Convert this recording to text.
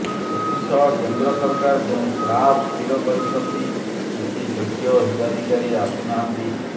ଏଥି ସହ କେନ୍ଦ୍ର ସରକାର ଯେଉଁ ସ୍ଲାବ ସ୍ଥିର କରିଛନ୍ତି କିଛି ଯୋଗ୍ୟ ହୀତାଧିକାରୀ ଆସୁ ନାହାନ୍ତି